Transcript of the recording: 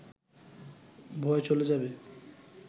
ভয় চলে যাবে